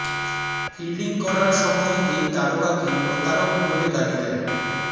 fielding করার সময় এই তারকাকে প্রতারক বলে গালি দেয়